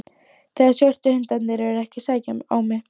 Þegar svörtu hundarnir eru ekki að sækja á mig.